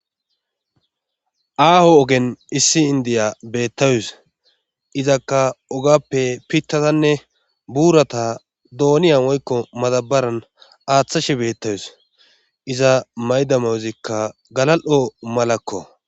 Aaho ogen issi indiya beettawus izakka ogappe pittatanne buurata dooniya woykko madabaran aaththashi beettawus iza maydamayozikka galal'o malakko.